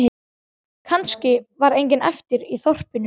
Kannski var enginn eftir í þorpinu.